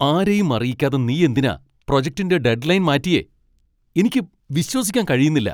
ആരെയും അറിയിക്കാതെ നീയെന്തിനാ പ്രൊജക്റ്റിൻ്റെ ഡെഡ്ലൈൻ മാറ്റിയെ? എനിക്ക് വിശ്വസിക്കാൻ കഴിയുന്നില്ല.